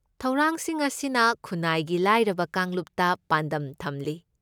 ꯊꯧꯔꯥꯡꯁꯤꯡ ꯑꯁꯤꯅ ꯈꯨꯟꯅꯥꯏꯒꯤ ꯂꯥꯏꯔꯕ ꯀꯥꯡꯂꯨꯞꯇ ꯄꯥꯟꯗꯝ ꯊꯝꯂꯤ꯫